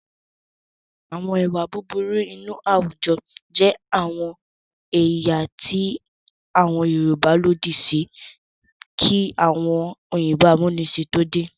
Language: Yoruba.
Àwọn ìwà búburú inú àwùjọ jẹ́ àwọn èyí tí àwùjọ Yorùbá lòdì sí kí àwọn òyìnbó amúnisìn tó dé.